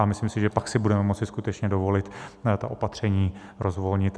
A myslím si, že pak si budeme moci skutečně dovolit ta opatření rozvolnit.